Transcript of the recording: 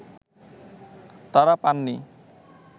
তারা পাননি